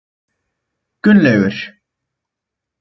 Gunnlaugur